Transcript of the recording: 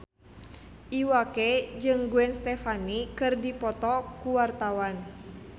Iwa K jeung Gwen Stefani keur dipoto ku wartawan